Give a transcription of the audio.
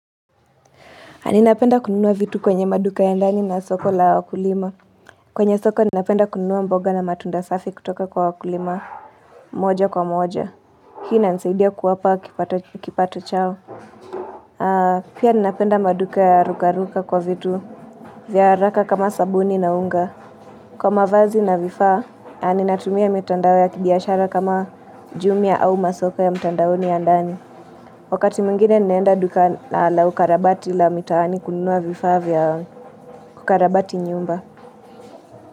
Ninapenda kununua vitu kwenye maduka ya ndani na soko la wakulima. Kwenye soko ninapenda kununua mboga na matunda safi kutoka kwa wakulima moja kwa moja. Hii inanisaidia kuwapa kipato chao. Pia ninapenda maduka ya rukaruka kwa vitu. Vya haraka kama sabuni na unga. Kwa mavazi na vifaa, ninatumia mitandao ya kibiashara kama jumia au masoko ya mitandaoni ya ndani. Wakati mwingine ninaenda duka la ukarabati la mitaani kununua vifaa vya. Kukarabati nyumba.